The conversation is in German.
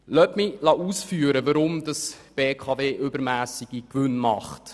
Weshalb erzielt die BKW mit ihrem Netzgeschäft übermässige Gewinne?